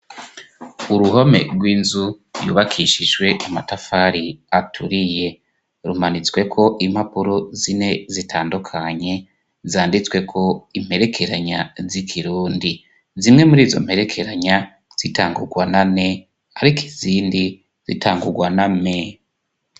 Uruhome rw'inzu yubakishijwe amatafari aturiye. Rumanitsweko impapuro zine zitandukanye , zanditsweko imperekeranya z'ikirundi. Zimwe muri izo mperekeranya zitangurwa na n ariko izindi zitangurwa na m.